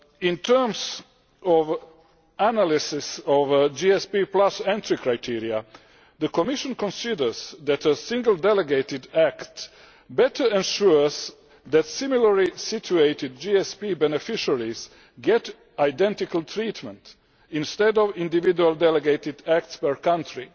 In terms of the analysis of the GSP entry criteria, the Commission considers that a single delegated act better ensures that similarly situated GSP beneficiaries get identical treatment instead of individual delegated acts per country.